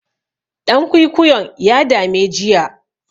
Ɗan kwikwiyon ya dame jiya.